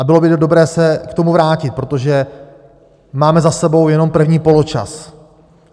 A bylo by dobré se k tomu vrátit, protože máme za sebou jenom první poločas.